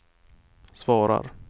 svarar